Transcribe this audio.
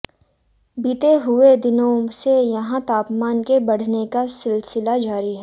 बीते कुछ दिनों से यहां तापमान के बढ़ने का सिलसिला जारी है